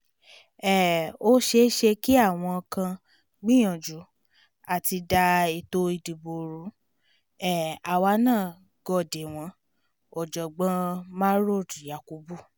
um ó ṣẹ̀ẹ̀ṣẹ̀ kí àwọn kan gbìyànjú àti da ètò ìdìbò ru um àwa náà gò dé wọn ọ̀jọ̀gbọ́n mahrod yakubu